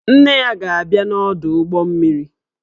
Nne ya ga-abia n'ọdụ ụgbọ mmiri